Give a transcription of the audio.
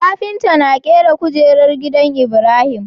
Kafinta na kera kujerar gidan ibrahim